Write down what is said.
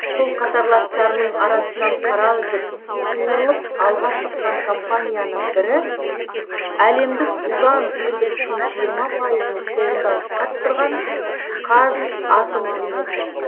сол қатарластарының арасынан қара үзіп суырылып алға шыққан компанияның бірі әлемдік уран өндірісінің жиырма пайызын қолында ұстап тұрған қазатомөнеркәсіп